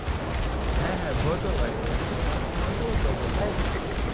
হ্যাঁ হ্যাঁ ভয় তো লাগে মানে হালকা পাতলা ভয় লাগে